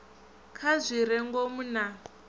kha zwi re ngomu na